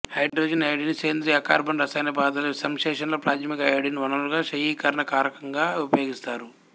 hydrogen iodide ని సేంద్రియ అకర్బన రసాయన పదార్ధాల సంశ్లేషణలో ప్రాథమిక అయోడిన్ వనరుగా క్షయికరణ కారకంగా ఉపయోగిస్తారు